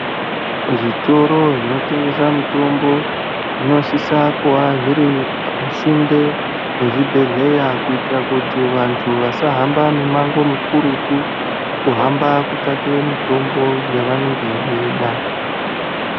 Muzvitoro zvinotengesa mitombo zvinosisa kuva zviri pasinde nezvibhedhleya kuitira kuti vanthu vasahamba mimango mikurutu kuhamba kutsvake mitombo yavanenge veida.